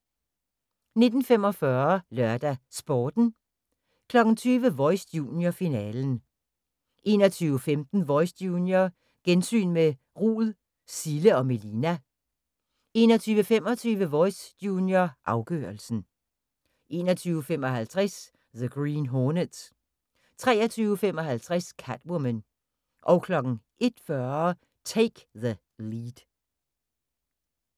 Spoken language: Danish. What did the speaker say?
19:45: LørdagsSporten 20:00: Voice – junior, finalen 21:15: Voice – junior, gensyn med Rud, Cille & Melina 21:25: Voice – junior, afgørelsen 21:55: The Green Hornet 23:55: Catwoman 01:40: Take the Lead